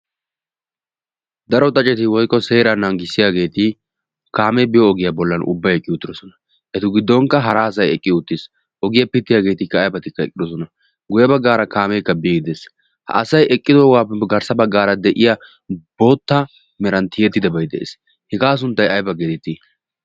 daro xaceti woiko seera naanggissiyaageeti kaamee biyo ogiyaa bollan ubbai ekki utidosona. etu giddonkka hara asai eqqido uttiis. ogiyaa pittiyaageetikka aibatikka eqqidosona guye baggaara kaameekka biigi dees. ha asai eqqido waappe garssa baggaara de7iya bootta meranttiyettidebai de7ees hegaa sunttai aibaa geetitti?